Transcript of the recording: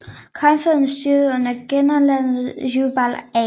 Konfødererede styrker under generalløjtnant Jubal A